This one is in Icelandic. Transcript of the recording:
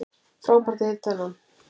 Frábært að hitta þennan